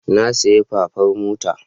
Na sayi fafar mota.